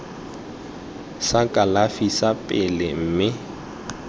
sa kalafi sa pele mme